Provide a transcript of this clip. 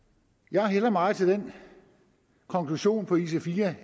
jeg hælder meget til den konklusion på ic4